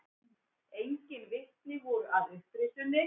Engin vitni voru að upprisunni.